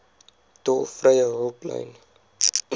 tolvrye hulplyn